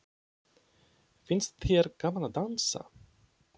Finnst þér gaman að dansa?